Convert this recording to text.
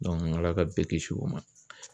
ALA ka bɛɛ kisi o ma.